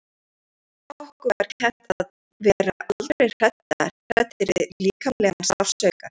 Okkur var kennt að vera aldrei hræddir við líkamlegan sársauka.